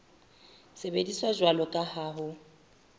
sebediswa jwalo ka ha ho